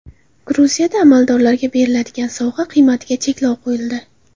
Gruziyada amaldorlarga beriladigan sovg‘a qiymatiga cheklov qo‘yildi.